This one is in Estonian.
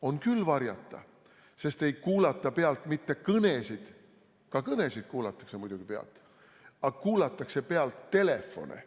On küll varjata, sest ei kuulata pealt mitte kõnesid, ka kõnesid kuulatakse muidugi pealt, aga kuulatakse pealt telefone.